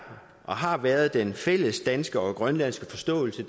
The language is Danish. og har været den fælles danske og grønlandske forståelse